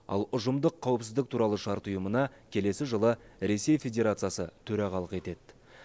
ал ұжымдық қауіпсіздік туралы шарт ұйымына келесі жылы ресей федерациясы төрағалық етеді